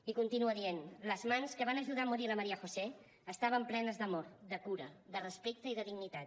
i continua dient les mans que van ajudar a morir la maría josé estaven plenes d’amor de cura de respecte i de dignitat